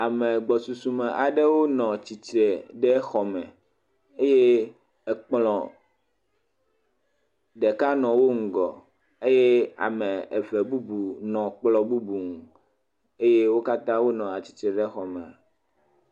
Ame gbɔsusume aɖe nɔ tsitre ɖe xɔme eye ekplɔ̃ ɖeka nɔ wo ŋgɔ eye ame eve bubu nɔ ekplɔ̃ bubu nu eye wo katã wonɔ atsitre ɖe xɔme.